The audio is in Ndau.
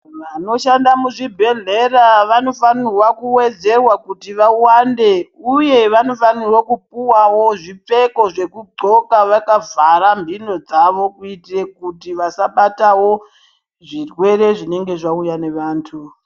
Vanoshanda muzvibhedhlera vanofanirwa kuwedzerwa kuti vawande uye vanofanirwa kupuwawo zvipfeko zvokudzxoka vakavhara mhino dzavo kuitira kuti vasabatawo zvirwere zvinenge zvauya nevantu.